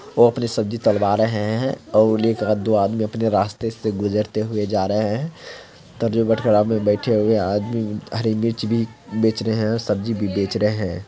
वो अपनी सब्जी तोलवा रहे हैं और उलेख दो आदमी अपनी रास्ते से गुजारते हुए जा रहे हैं उधर जो बटखरा मे बैठे हुए आदमी हरी मिर्च भी बेच रहे हैं और सब्जी भी बेच रहे हैं ।